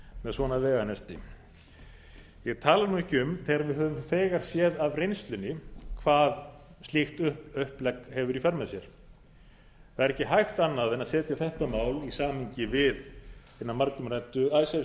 með svona veganesti ég tala nú ekki um þegar við höfum þegar séð af reynslunni hvað slíkt upplegg hefur í för með sér það er ekki hægt annað en að setja þetta mál í samhengi við hina margumræddu icesave